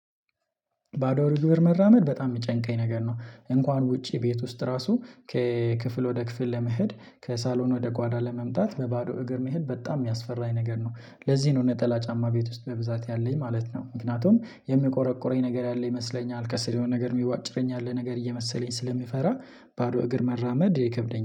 ባዶ እግር መራመድ በጣም የሚጨንቀኝ ነገር ነው። እንኳን ውጪ ቤት ውስጥ ራሱ ከክፍል ወደ ክፍል ለመሄድ ከሳሎን ወደ ጓዳ ለመምጣት በባዶ እግር መሄድ በጣም የሚያስፈራኝ ነገር ነው። ለዚህ ነው ነጠላ ጫማ ቤት ውስጥ በብዛት ያለኝ ማለት ነው። ምክንያቱም የሚቆረቁረኝ ነገር ያለ ይመስለኛል ከስር የሆነ ነገር የሚቧጭረኝ ያለ ነገር እየመሰለኝ ስለሚፈራ ባዶ እግር መራመድ ይከብደኛል